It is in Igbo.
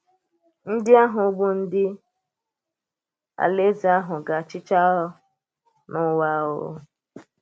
Ndí àhụ̀ bụ́ ndị Alaeze àhụ̀ ga-achị um n’ụ̀wa. um